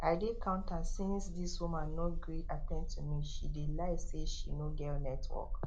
i dey counter since this woman no gree at ten d to me she dey lie say she no get network